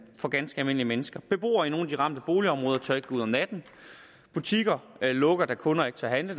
for ganske almindelige mennesker beboere i nogle af de ramte boligområder tør ikke gå ud om natten butikker lukker da kunder ikke tør handle